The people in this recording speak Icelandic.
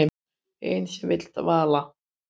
Ein sem vill val.